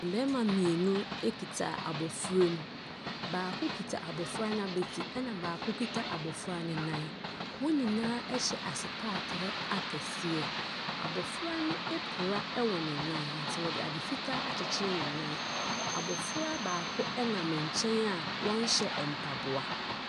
Bɛrima mmienu ekita abofra mu. Baako kita abofra nabeti. Ɛna baako kita abofra ne nan. Wɔn nyinaa ɛhyɛ asepatere akɛseɛ. Abofra no apira ɛwɔ ne nan. Nti wɔde ade fitaa akyekyere ne nan. Abofra baako ɛnam nkyɛn a ɔnhyɛ mpaboa.